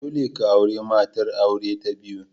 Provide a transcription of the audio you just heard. Dole ka auri matar aure ta biyu!